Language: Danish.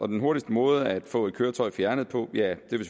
den hurtigste måde at få et køretøj fjernet på